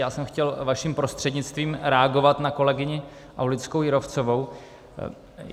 Já jsem chtěl, vaším prostřednictvím, reagovat na kolegyni Aulickou Jírovcovou.